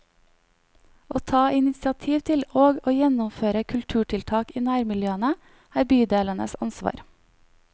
Å ta initiativ til, og å gjennomføre kulturtiltak i nærmiljøene, er bydelenes ansvar.